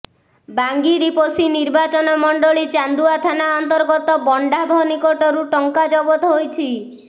ବାଙ୍ଗିରିପୋଷି ନିର୍ବାଚନ ମଣ୍ଡଳୀ ଚାନ୍ଦୁଆ ଥାନା ଅନ୍ତର୍ଗତ ବଣ୍ଡାଭ ନିକଟରୁ ଟଙ୍କା ଜବତ ହୋଇଛି